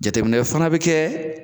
Jateminɛ fana bɛ kɛ